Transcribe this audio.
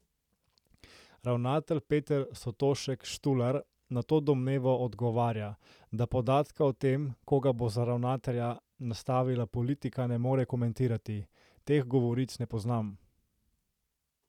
Ravnatelj Peter Sotošek Štular na to domnevo odgovarja, da podatka o tem, koga bo za ravnatelja "nastavila politika", ne more komentirati: "Teh govoric ne poznam.